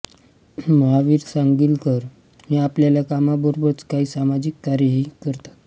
महावीर सांगलीकर हे आपल्या कामाबरोबरच कांही सामाजिक कार्येही करतात